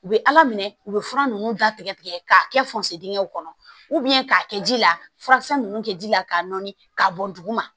U bɛ ala minɛ u bɛ fura ninnu datigɛ tigɛ k'a kɛ fonsedɛw kɔnɔ k'a kɛ ji la furakisɛ ninnu kɛ ji la k'a nɔɔni k'a bɔ duguma